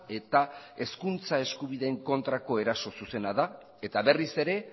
eta hezkuntza eskubideen kontrako eraso zuzena da eta berriz ere